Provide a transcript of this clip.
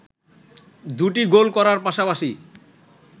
দুটি গোল করার পাশাপাশি